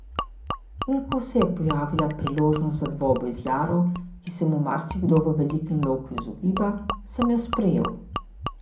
In ko se je pojavila priložnost za dvoboj z Laro, ki se mu marsikdo v velikem loku izogiba, sem jo sprejel.